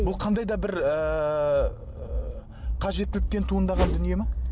бұл қандайда бір ыыы қажеттіліктен туындаған дүние ме